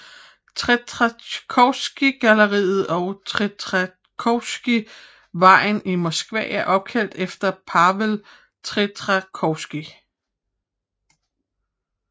Tretjakovgalleriet og Tretjakovvejen i Moskva er opkaldt efter Pavel Tretjakov